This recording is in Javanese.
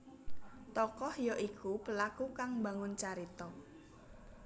Tokoh ya iku pelaku kang mbangun carita